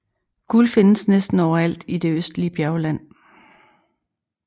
Guld findes næsten over alt i det østlige bjergland